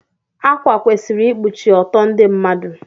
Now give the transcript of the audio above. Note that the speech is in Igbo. Akwa kwesịrị ikpuchi ọtọ ndị mmadụ.